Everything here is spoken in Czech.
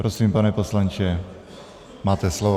Prosím, pane poslanče, máte slovo.